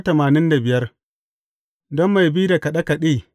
Don mai bi da kaɗe kaɗe.